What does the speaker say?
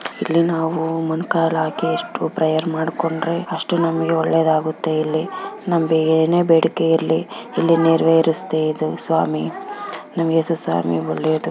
ಇಲ್ಲಿ ನಾವು ಮೊಣಕಾಲು ಹಾಕಿ ಎಷ್ಟು ಪ್ರೇಯರ್ ಮಾಡ್ಕೊಂಡ್ರೆ ಅಷ್ಟು ನಮಗೆ ಒಳ್ಳೆದ್ ಆಗುತ್ತೆ ಇಲ್ಲಿ ನಮಗೆ ಏನೇ ಬೇಡಿಕೆ ಇರಲಿ ಇಲ್ಲಿ ನೆರೆವೆರ್ಸ್ತೆ ಇದು ಸ್ವಾಮಿ ನಮಗೆ ಒಳ್ಳೆದು.